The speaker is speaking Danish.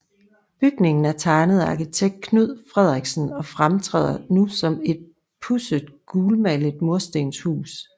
Bygningen er tegnet af arkitekt Knud Friderichsen og fremtræder nu som et pudset gulmalet murstenshus